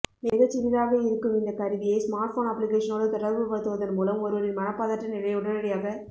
மிகச்சிறிதாக இருக்கும் இந்த கருவியை ஸ்மார்ட்போன் அப்ளிகேஷனோடு தொடர்புபடுத்துவதன் மூலம் ஒருவரின் மனப்பதற்ற நிலையை உடனடியாக